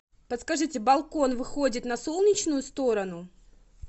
подскажите балкон выходит на солнечную сторону